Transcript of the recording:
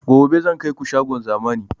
Gobe zan kaiku shagon zamani